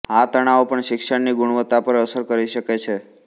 આ તણાવો પણ શિક્ષણની ગુણવત્તા પર અસર કરી શકે